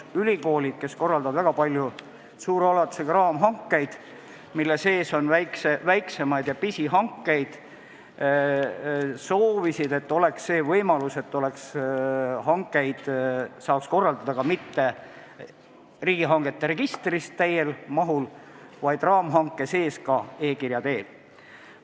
Ülikoolid, kes korraldavad väga palju suure ulatusega raamhankeid, mille sees on väikesi hankeid ja pisihankeid, soovisid, et väikese maksumusega hankeid ei peaks korraldama täies mahus riigihangete registris, vaid neid saaks korraldada ka raamhanke sees e-kirja teel.